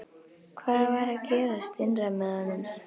Hvað var að gerast innra með honum?